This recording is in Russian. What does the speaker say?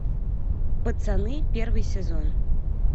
пацаны первый сезон